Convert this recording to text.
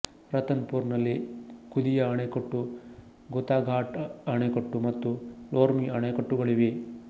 ರತನ್ ಪುರ್ ನಲ್ಲಿ ಖುದಿಯಾ ಅಣೆಕಟ್ಟು ಖುತಾಘಾಟ್ ಅಣೆಕಟ್ಟು ಮತ್ತು ಲೋರ್ಮಿ ಅಣೆಕಟ್ಟುಗಳಿವೆ